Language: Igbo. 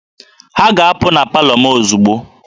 Ha ga-apụ na palọ m ozugbo!